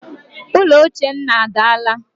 Ụlọ ochie nna adaala